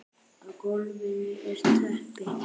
Á gólfinu er teppi.